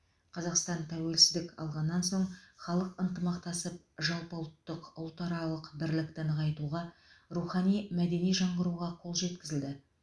қазақстан тәуелсіздік алғаннан соң халық ынтымақтасып жалпыұлттық ұлтаралық бірлікті нығайтуға рухани мәдени жаңғыруға қол жеткізілді